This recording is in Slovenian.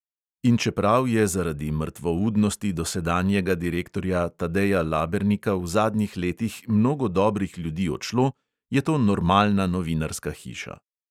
In čeprav je zaradi mrtvoudnosti dosedanjega direktorja tadeja labernika v zadnjih letih mnogo dobrih ljudi odšlo, je to normalna novinarska hiša.